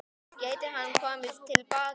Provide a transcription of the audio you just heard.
Gæti hann komið til baka?